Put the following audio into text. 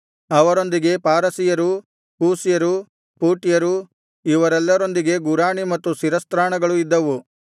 ಅವರೊಂದಿಗೆ ಪಾರಸಿಯರು ಕೂಷ್ಯರು ಪೂಟ್ಯರು ಇವರೆಲ್ಲರೊಂದಿಗೆ ಗುರಾಣಿ ಮತ್ತು ಶಿರಸ್ತ್ರಾಣಗಳು ಇದ್ದವು